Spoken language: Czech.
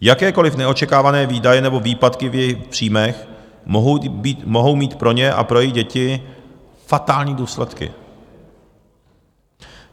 Jakékoliv neočekávané výdaje nebo výpadky v jejich příjmech mohou mít pro ně a pro jejich děti fatální důsledky.